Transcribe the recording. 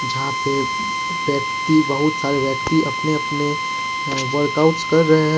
जहां पे व्यक्ति बहुत सारे व्यक्ति अपने अपने वर्कआउट्स कर रहे हैं।